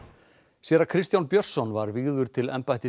séra Kristján Björnsson var vígður til embættis